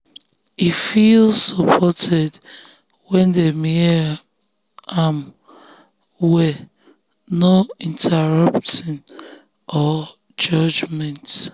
e feel supported when dem hear um am well no interrupting um or judgement